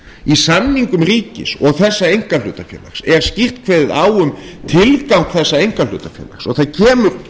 í samningum ríkis og þessa einkahlutafélags er skýrt kveðið á um tilgang þessa einkahlutafélags og það kemur